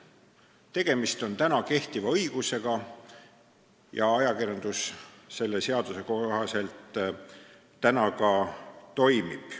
Tegemist on kehtiva õigusega ja ajakirjandus on selle seaduse kohaselt ka toiminud.